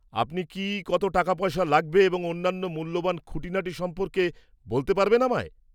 -আপনি কি কত টাকাপয়সা লাগবে এবং অন্যান্য মূল্যবান খুঁটিনাটি সম্পর্কে বলতে পারবেন আমায়?